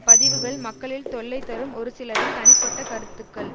பதிவுகள் மக்களில் தொல்லை தரும் ஒரு சிலரின் தனிப்பட்ட கருத்துக்கள்